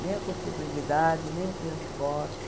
Nem a contabilidade, nem o piano forte.